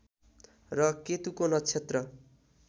र केतुको नक्षत्र